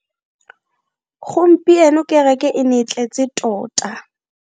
Gompieno kereke e ne e tletse tota.